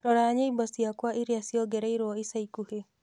rora nyĩmbo ciakwa iria ciongereirũo ica ikuhĩ